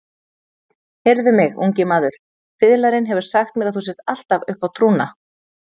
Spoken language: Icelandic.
Heyrðu mig, ungi maður, fiðlarinn hefur sagt mér að þú sért allur uppá trúna.